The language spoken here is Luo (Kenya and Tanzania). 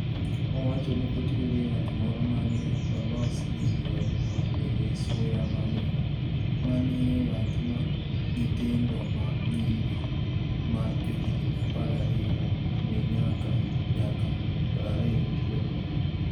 Owacho nii otiyo gi yath moro ma ni e olos gi yieni ma niigi suya mamit, ma eni yath ma niyithinido ma niyiri ma johiginii 12 niyaka 20 tiyo godo.